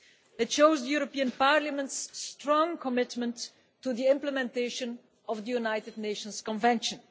It shows the European Parliament's strong commitment to the implementation of the United Nations Convention.